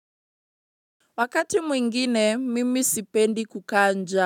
Wakati mwingine, mimi sipendi kukaa njaa.